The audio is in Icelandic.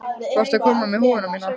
Varstu að koma með húfuna mína?